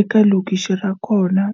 eka lokixi ra kona.